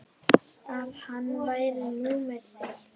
að hann væri númer eitt.